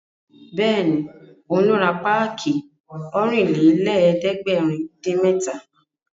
Bẹ́ẹ̀ni, òun ló ra páàkì Ọ̀rìnlélẹ̀ẹ́dẹ́gbèrin-dín-mẹ́ta